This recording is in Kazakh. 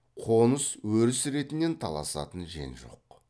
қоныс өріс ретінен таласатын жен жоқ